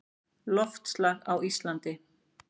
Loftslag á Íslandi